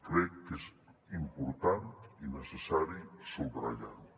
crec que és important i necessari subratllar ho